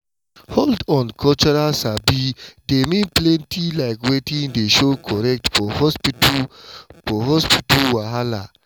hold on cultural sabi dey mean plenty like wetin dey show correct for hospital for hospital wahala.